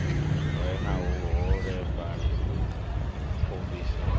re na vhuholefhali u pfumbisa